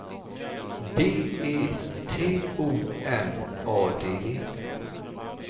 B E T O N A D E